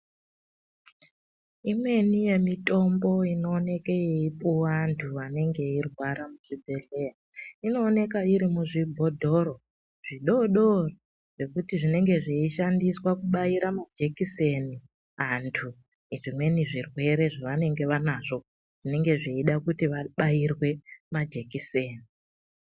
Imweni yemitombo inooneke yeipuwa vantu vanenge veirwara muzvibhedhleya inooneka iri muzvibhotoro zvidoodori zvekuti zvinenge zveishandiswa kubaira majekiseni antu zvimweni zvirwere zvavanenge vanazvo zvinenge zveida kuti vabairwe majekiseni.